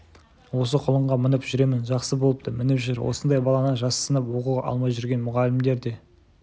осы құлынға мініп жүремін жақсы болыпты мініп жүр осындай баланы жассынып оқуға алмай жүрген мұғалімдер де